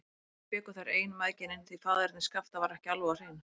Þau bjuggu þar ein, mæðginin, því faðerni Skapta var ekki alveg á hreinu.